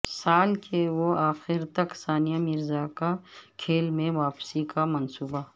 سال کے اواخر تک ثانیہ مرزا کا کھیل میں واپسی کا منصوبہ